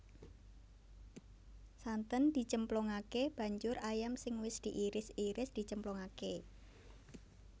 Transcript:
Santen dicemplungake banjur ayam sing wis diiris iris dicemplungake